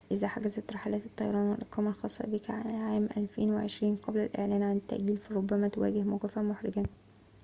إذا حجزت رحلات الطيران والإقامة الخاصة بك لعام 2020 قبل الإعلان عن التأجيل فربما تواجه موقفاً حرجاً